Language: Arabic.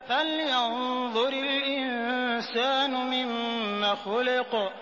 فَلْيَنظُرِ الْإِنسَانُ مِمَّ خُلِقَ